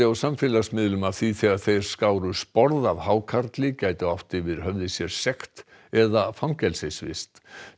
á samfélagsmiðlum myndbandi af því þegar þeir skáru sporð af hákarli gætu átt yfir höfði sér sekt eða fangelsisvist